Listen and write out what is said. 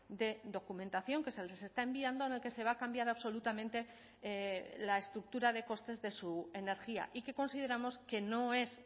de documentación que se les está enviando en el que se va a cambiar absolutamente la estructura de costes de su energía y que consideramos que no es